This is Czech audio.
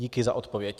Díky za odpověď.